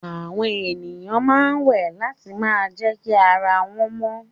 Àwọn èèyàn ma wẹ̀ láti ma jẹ́kí ara wọ́n mọ